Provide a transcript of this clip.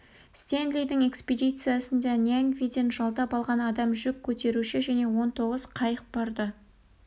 стенлидің экспедициясында ньянгвиден жалдап алған адам жүк көтеруші және он тоғыз қайық барды